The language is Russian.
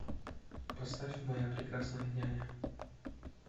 поставь моя прекрасная няня